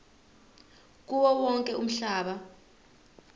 kuwo wonke umhlaba